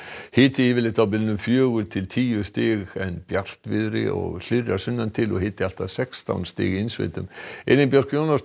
hiti yfirleitt á bilinu fjögur til tíu stig en bjartviðri og hlýrra sunnan til og hiti allt að sextán stig í innsveitum Elín Björk Jónasdóttir